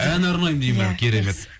ән арнаймын дейді ма ия керемет